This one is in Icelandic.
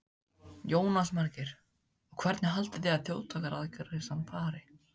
Jónas Margeir: Og hvernig haldið þið að þjóðaratkvæðagreiðslan fari?